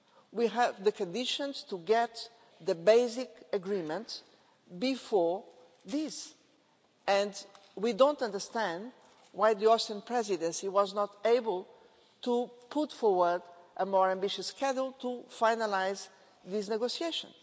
We have the conditions to get the basic agreement before this, and we don't understand why the Austrian Presidency was not able to put forward a more ambitious schedule to finalise this negotiation.